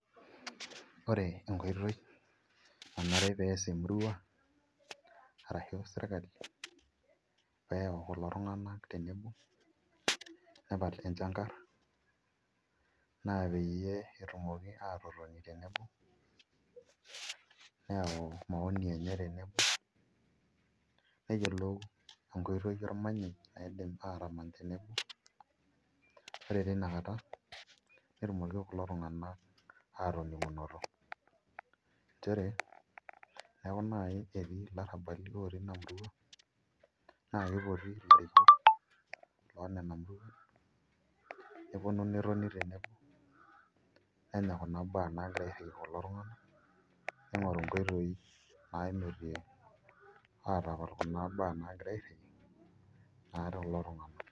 Ore enkoitoi nanare peas emurua arashu serkali peyau kulotunganak tenebo nepal enchangar na peyie etumoki atotoni neyau maoni enye tinewoi neyiolou enkoitoi naidim atamany teneboore tinekata netumoki ltunganak atiningunoto nchere teneaku nai olarabal na kipoti neponu netoni tenebo kulo tunganak neingoru nkoitoi naata kulo tunganak.